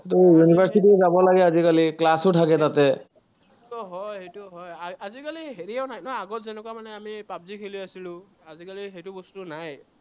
university যাব লাগে আজিকালি, class ও থাকে।